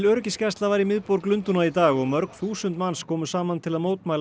öryggisgæsla var í miðborg Lundúna í dag og mörg þúsund manns komu saman til að mótmæla